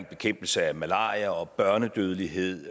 bekæmpelse af malaria og børnedødelighed